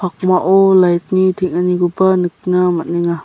pakmao lait ni teng·anikoba nikna man·enga.